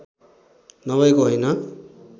नभएको होइन